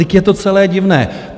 Vždyť je to celé divné!